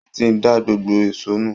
Wọ́n ti da gbogbo èṣó nù